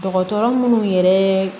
Dɔgɔtɔrɔ munnu yɛrɛ